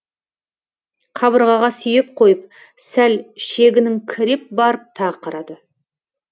қабырғаға сүйеп қойып сәл шегініңкіреп барып тағы қарады